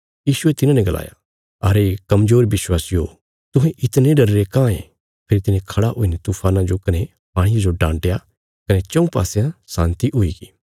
यीशुये तिन्हांने गलाया अरे कमजोर बिश्वासिओ तुहें इतणे डरीरे काँह ये फेरी तिने खड़ा हुईने तूफाना जो कने पाणिये जो डान्टया कने चऊँ पासयां शान्ति हुईगी